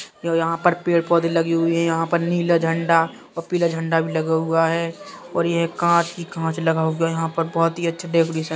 यहाँ पर पेड-पौधे लगे हुए हैं। यहाँ पर नीला झंडा और पीला झंडा भी लगा हुआ है और ये कांच ही कांच लगा हुआ है। यहाँ पर बोहुत ही अच्छा डेकोरेशन --